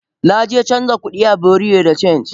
Naje canja kudi a bureau de change.